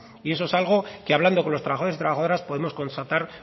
y eso es algo que hablando con los trabajadores y trabajadoras podemos constatar